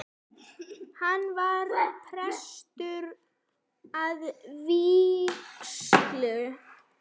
Hann var prestur að vígslu.